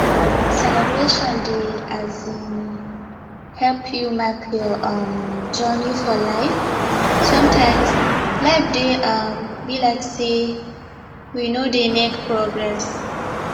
celebration dey um help you mark your um journey for life sometimes life dey um be like sey we no dey make progress